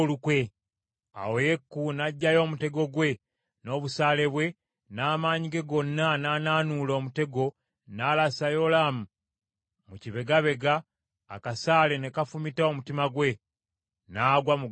Awo Yeeku n’aggyayo omutego gwe n’obusaale bwe, n’amaanyi ge gonna n’anaanuula omutego n’alasa Yolaamu mu kibegabega, akasaale ne kafumita omutima gwe, n’agwa mu ggaali lye.